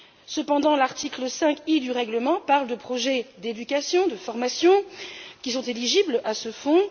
Cependant, l'article 5 i du règlement parle de projets d'éducation, de formation, qui sont éligibles à ce Fonds.